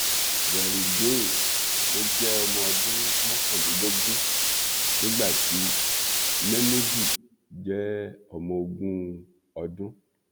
veryideen ló jẹ ọmọ ọdún mọkànlélógún nígbà tí mémúdù jẹ ọmọ ogún ọdún